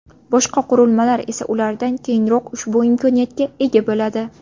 Boshqa qurilmalar esa ulardan keyinroq ushbu imkoniyatga ega bo‘ladi.